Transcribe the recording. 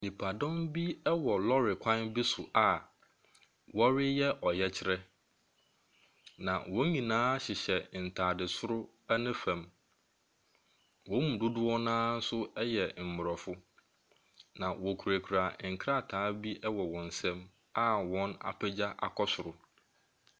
Nnipadɔmm bi wɔ lɔɔre kwan bi so a wɔreyɛ ɔyɛkyerɛ. Na wɔn nyinaa hyehyɛ ntaade soro ne fam. Wɔn mu dodoɔ no ara no yɛ Mmorɔfo. Na wɔkurakura nkrataa bi wɔn nsam a wɔapegya akɔ soro.